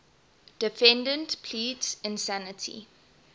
defendant pleads insanity